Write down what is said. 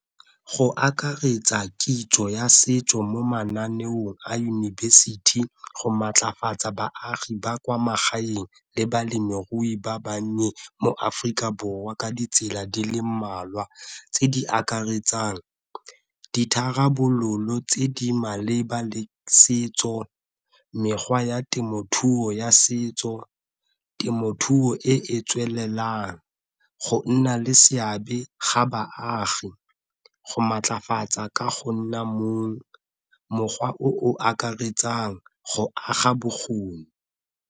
Go akaretsa kitso ya setso mo mananeong a yunibesithi go maatlafatsa baagi ba kwa magaeng le balemirui ba bannye mo Aforika Borwa ka ditsela di le mmalwa tse di akaretsang ditharabololo tse di maleba setso, mekgwa ya temothuo ya setso, temothuo e e tswelelang, go nna le seabe ga baagi, go maatlafatsa ka go nna , mokgwa o o akaretsang go aga bokgoni.